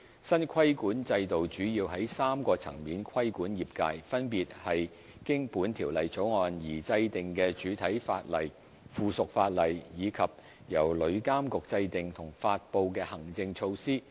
新規管制度主要在3個層面規管業界，分別是經《條例草案》而制定的主體法例、附屬法例，以及由旅監局制訂和發布的行政措施。